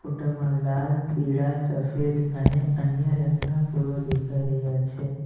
ફોટામાં લાલ પીળા સફેદ અને અન્ય રંગના ફૂલો દેખાઈ રહ્યા છે.